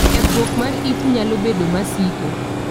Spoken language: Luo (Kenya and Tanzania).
Kethruok mar it nalo bedo masiko.